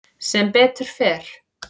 Sem betur fer.